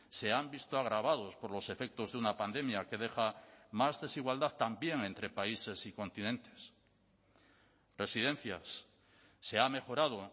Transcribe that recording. se han visto agravados por los efectos de una pandemia que deja más desigualdad también entre países y continentes residencias se ha mejorado